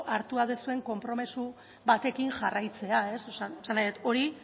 hartuta duzuen konpromiso batekin jarraitzea esan nahi dut hori